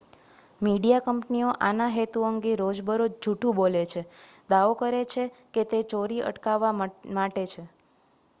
"Media કંપનીઓ આના હેતુ અંગે રોજબરોજ જુઠ્ઠું બોલે છે દાવો કરે છે કે તે "ચોરી અટકાવવા" માટે છે.